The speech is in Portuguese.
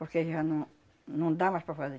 Porque já não não dá mais para fazer.